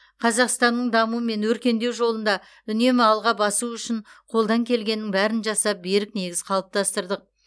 қазақстанның даму мен өркендеу жолында үнемі алға басуы үшін қолдан келгеннің бәрін жасап берік негіз қалыптастырдық